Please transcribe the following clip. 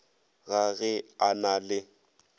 ga ge a na le